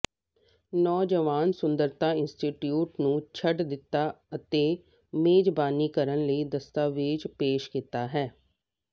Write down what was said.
ਨੌਜਵਾਨ ਸੁੰਦਰਤਾ ਇੰਸਟੀਚਿਊਟ ਨੂੰ ਛੱਡ ਦਿੱਤਾ ਅਤੇ ਮੇਜ਼ਬਾਨੀ ਕਰਨ ਲਈ ਦਸਤਾਵੇਜ਼ ਪੇਸ਼ ਕੀਤਾ ਹੈ